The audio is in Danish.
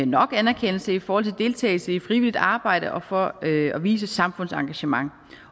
nok anerkendelse i forhold til deltagelse i frivilligt arbejde og for at vise samfundsengagement